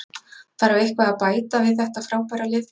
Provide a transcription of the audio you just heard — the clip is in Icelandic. Þarf eitthvað að bæta við þetta frábæra lið?